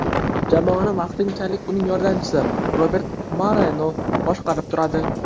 Jamoani vaqtinchalik uning yordamchisi Robert Moreno boshqarib turadi.